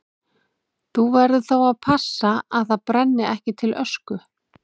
Þú verður þá að passa að það brenni ekki til ösku.